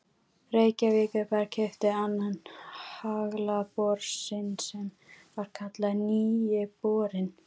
Reykjavíkurbær keypti annan haglabor sinn sem var kallaður Nýi borinn.